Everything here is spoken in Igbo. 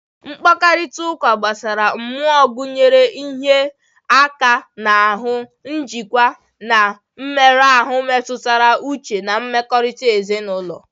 Mkparịta ụka gbasara mmụọ gụnyere ịhịa aka n'ahụ, njikwa, na mmerụ ahụ mmetụta uche na mmekọrịta ezinụlọ.